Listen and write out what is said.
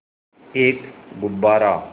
एक गुब्बारा